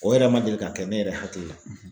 O yɛrɛ man deli ka kɛ ne yɛrɛ hakili la.